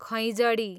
खैँजडी